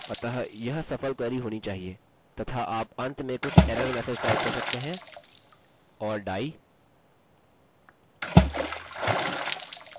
अतः यह सफल क्वेरी होनी चाहिए तथा आप अंत में कुछ एरर मैसेज टाइप कर सकते हैं or die query didnt work